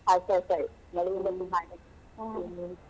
.